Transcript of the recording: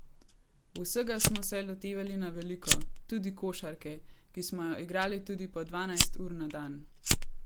Vsega smo se lotevali na veliko, tudi košarke, ki smo jo igrali tudi po dvanajst ur na dan.